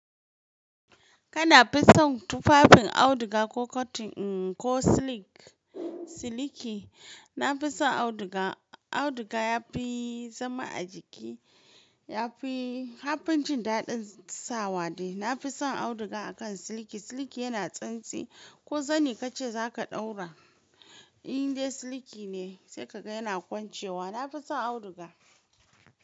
Kana fison tufafin auduga ko cotton ko silk, silky. Na fi son auduga, auduga ya fi zama a jiki, ya fi, har binci daɗin sawa ne. Na fi son auduga akan silky. Silky yana tsintsi ko zani ka ce za ka ɗaura, in dai silky ne sai ka ga yana kwancewa. Na fi son auduga.